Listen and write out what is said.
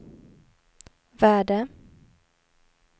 värde